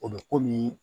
O bɛ komi